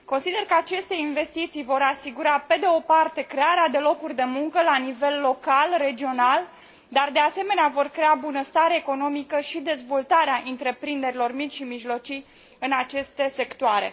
Consider că aceste investiții vor asigura, pe de o parte, crearea de locuri de muncă la nivel local, regional și, de asemenea, vor crea bunăstare economică și dezvoltarea întreprinderilor mici și mijlocii în aceste sectoare.